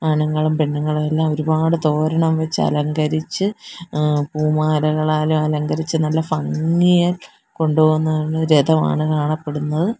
ആണുങ്ങളും പെണ്ണുങ്ങളും എല്ലാം ഒരുപാട് തോരണം വെച്ച് അലങ്കരിച്ച് ഏഹ് പൂമാലകളാലും അലങ്കരിച്ച് നല്ല ഭംഗിയായി കൊണ്ടു പോകുന്ന ഒരു രഥമാണ് കാണപ്പെടുന്നത്.